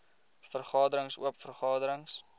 vergaderings oop vergaderings